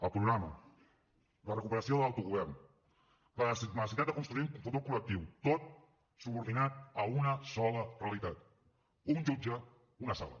el programa la recuperació de l’autogovern la necessitat de construir un futur col·lectiu tot subordinat a una sola realitat un jutge una sala